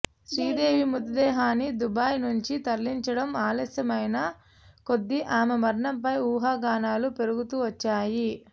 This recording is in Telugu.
శ్రీదేవి మృతదేహాన్ని దుబాయ్ నుంచి తరలించడం ఆలస్యమైన కొద్దీ ఆమె మరణంపై ఊహాగానాలు పెరుగుతూ వచ్చాయి